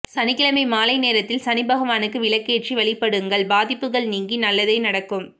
சனிக்கிழமை மாலை நேரத்தில் சனிபகவானுக்கு விளக்கேற்றி வழிபடுங்கள் பாதிப்புகள் நீங்கி நல்லதே நடக்கும்